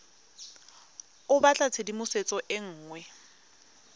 o batla tshedimosetso e nngwe